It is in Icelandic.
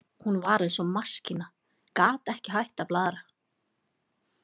Hún var eins og maskína, gat ekki hætt að blaðra.